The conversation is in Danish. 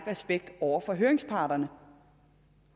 respekt over for høringsparterne